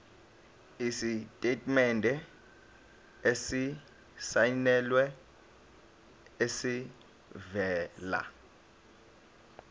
isitatimende esisayinelwe esivela